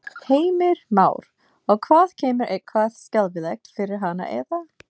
Heimir Már: Og hvað kemur eitthvað skelfilegt fyrir hana eða?